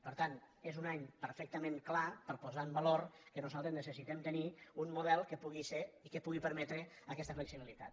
per tant és un any perfecta·ment clar per a posar en valor que nosaltres necessi·tem tenir un model que pugui ser i que pugui permetre aquesta flexibilitat